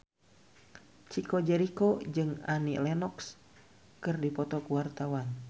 Chico Jericho jeung Annie Lenox keur dipoto ku wartawan